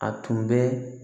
A tun bɛ